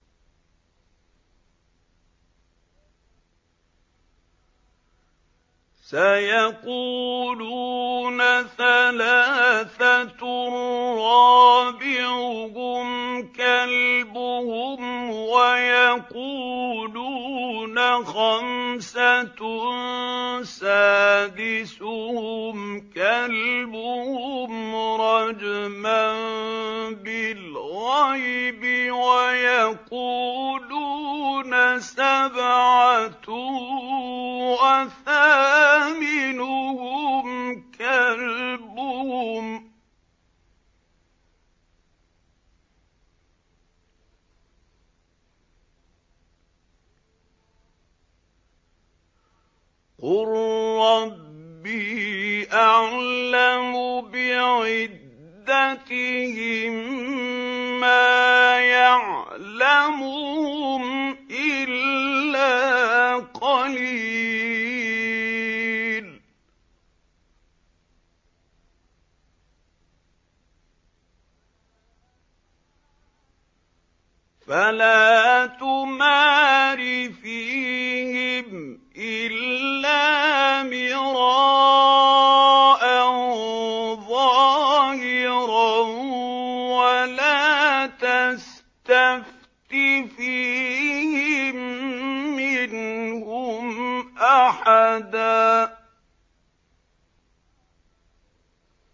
سَيَقُولُونَ ثَلَاثَةٌ رَّابِعُهُمْ كَلْبُهُمْ وَيَقُولُونَ خَمْسَةٌ سَادِسُهُمْ كَلْبُهُمْ رَجْمًا بِالْغَيْبِ ۖ وَيَقُولُونَ سَبْعَةٌ وَثَامِنُهُمْ كَلْبُهُمْ ۚ قُل رَّبِّي أَعْلَمُ بِعِدَّتِهِم مَّا يَعْلَمُهُمْ إِلَّا قَلِيلٌ ۗ فَلَا تُمَارِ فِيهِمْ إِلَّا مِرَاءً ظَاهِرًا وَلَا تَسْتَفْتِ فِيهِم مِّنْهُمْ أَحَدًا